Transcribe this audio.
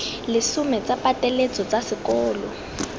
lesome tsa pateletso tsa sekolo